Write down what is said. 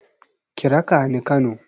Ki raka ni Kano.